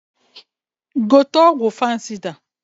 Gote ọgwụ fansịda!